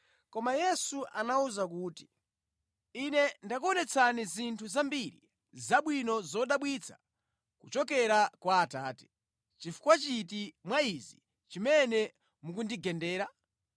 koma Yesu anawawuza kuti, “Ine ndakuonetsani zinthu zambiri zabwino zodabwitsa kuchokera kwa Atate. Nʼchifukwa chiti mwa izi chimene mukundigendera?”